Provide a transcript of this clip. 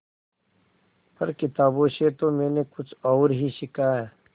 पर किताबों से तो मैंने कुछ और ही सीखा है